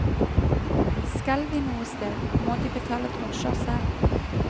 Skal de noe sted, må de betale drosjer selv.